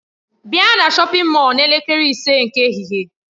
Bịa na shọpin Mọll n'elekere ise nke ehihie!